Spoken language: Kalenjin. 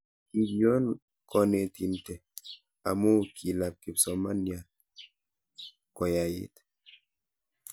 kikion koneetinte amu kilap kipsomanian koyait